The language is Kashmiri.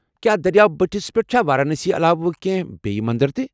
کیٛاہ دٔریاو بٔٹھس پٮ۪ٹھ چھا وارانسی علاوٕ کینہہ بییہِ مندر تہِ ؟